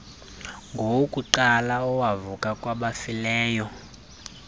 ngowokuqala owavuka kwabafileyo